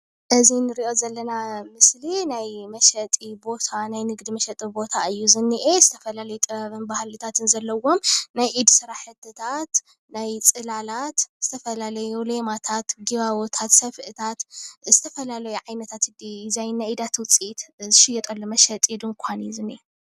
እዚ ንሪኦ ዘለና ምስሊ ናይ መሸጢ ቦታ ናይ ንግዲ መሸጢ ቦታ እዩ ዝኒአ፡፡ ዝተፈላለዩ ጥበብን ባህልታትን ዘለዉዎም ናይ ኢድ ስራሕትታት፣ ናይ ፅላላት፣ ዝተፈላለዩ ሌማታት፣ ጊባቦታት፣ ሰፍእታት፣ ዝተፈላለዩ ዓይነታት ዲዛይን ናይ ኢዳት ውፅኢት ዝሽየጠሉ መሸጢ ድንዃን እዩ ዝኒአ፡፡